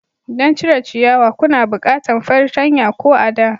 Don cire ciyawa kuna bukantan fartanya ko a'da.